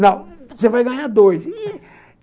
Não, você vai ganhar dois.